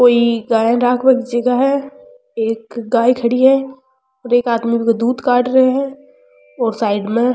कोई गाय रखवा की जगा है एक गाये खड़ी है और एक आदमी उसको दूध काड़ रो है और साइड में --